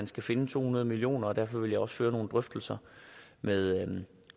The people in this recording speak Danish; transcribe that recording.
skal findes to hundrede million kroner derfor vil jeg også føre nogle drøftelser med